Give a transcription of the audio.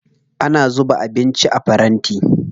Ana zuba abinci a faranti.